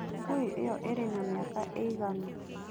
Ngui ĩyo ĩrĩ na mĩaka ĩigana?